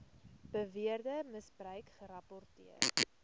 beweerde misbruik gerapporteer